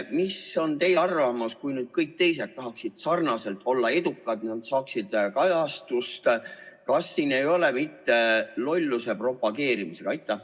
Mis on teie arvamus, kui kõik teised tahaksid sarnaselt olla edukad, et nad saaksid kajastust, kas siin ei ole mitte tegu lolluse propageerimisega?